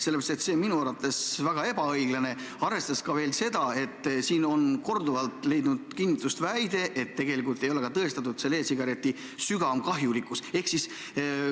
See on minu arvates väga ebaõiglane, arvestades ka seda, et siin on korduvalt leidnud kinnitust väide, et tegelikult ei ole e-sigareti suurem kahjulikkus tõestatud.